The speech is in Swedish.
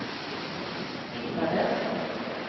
hittades